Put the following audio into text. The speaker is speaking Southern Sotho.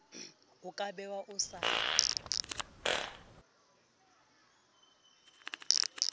o ka be o sa